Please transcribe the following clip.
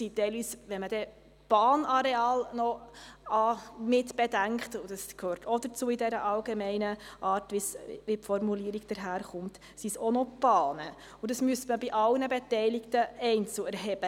Würde man die Bahnareale mit einbeziehen, die ja gemäss der allgemein gehaltenen Formulierung der Planungserklärung ebenfalls dazu gehören, müsste man die Daten bei allen Beteiligten einzeln erheben.